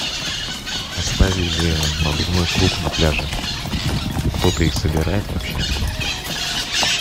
оставили надувной круг на пляже кто то их собирает вообще